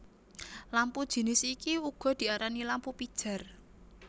Lampu jinis iki uga diarani lampu pijar